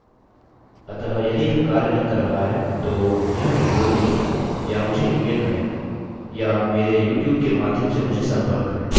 अतः यदि यह कार्य नहीं कर रहा है तो यह ट्यूटोरियल देखें या मुझे ईमेल करें या मेरे यूट्यूब के माध्यम से मुझसे संपर्क करें